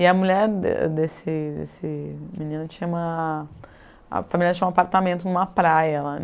E a mulher de desse desse menino tinha uma... a família tinha um apartamento em uma praia lá.